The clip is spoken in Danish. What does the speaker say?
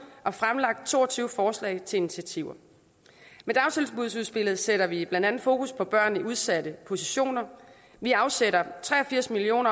og fremlagt to og tyve forslag til initiativer med dagtilbudsudspillet sætter vi blandt andet fokus på børn i udsatte positioner vi afsætter tre og firs million